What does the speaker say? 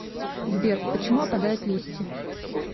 сбер почему опадают листья